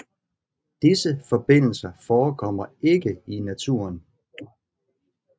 Disse forbindelser forekommer ikke i naturen